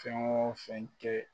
Fɛn o fɛn kɛ